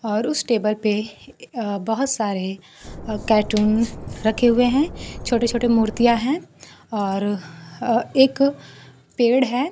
और उसे टेबल पे अ बहोत सारे कार्टून रखे हुए हैं छोटे छोटे मूर्तियां हैं और एक पेड़ है।